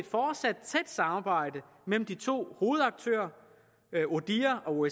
fortsat tæt samarbejde mellem de to hovedaktører odihr og